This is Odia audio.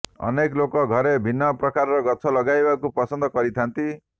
ଅନେକ ଲୋକ ଘରେ ଭିନ୍ନ ପ୍ରକାର ଗଛ ଲଗାଇବାକୁ ପସନ୍ଦ କରିଥାଆନ୍ତି